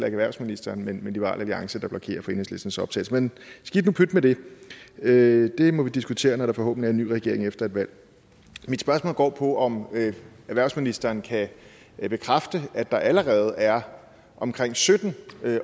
erhvervsministeren men liberal alliance der blokerer for enhedslistens optagelse men skidt og pyt med det det må vi diskutere når der forhåbentlig er en ny regering efter et valg mit spørgsmål går på om erhvervsministeren kan bekræfte at der allerede er omkring sytten